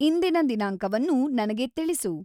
ಇಂದಿನ ದಿನಾಂಕವನ್ನು ನನಗೆ ತಿಿಳಿಸು